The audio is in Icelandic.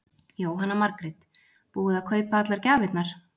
Jóhanna Margrét: Búið að kaupa allar gjafirnar?